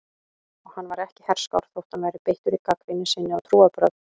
Og hann var ekki herskár þótt hann væri beittur í gagnrýni sinni á trúarbrögð.